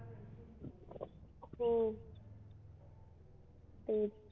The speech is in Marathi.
हो तेच